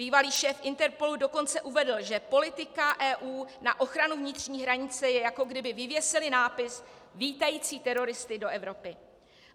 Bývalý šéf Interpolu dokonce uvedl, že politika EU na ochranu vnitřní hranice je, jako kdyby vyvěsili nápis vítající teroristy do Evropy.